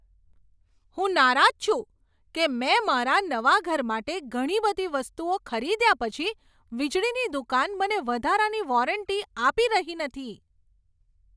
હું નારાજ છું કે મેં મારા નવા ઘર માટે ઘણી બધી વસ્તુઓ ખરીદ્યા પછી વીજળીની દુકાન મને વધારાની વોરંટી આપી રહી નથી.